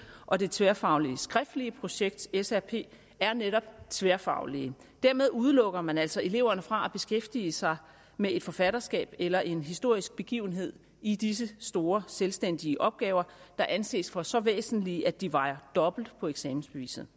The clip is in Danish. og det tværfaglige skriftlige projekt srp er netop tværfaglige dermed udelukker man altså eleverne fra at beskæftige sig med et forfatterskab eller en historisk begivenhed i disse store selvstændige opgaver der anses for så væsentlige at de vejer dobbelt på eksamensbeviset